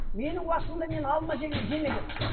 менің уақытымда мен алма жемегенмін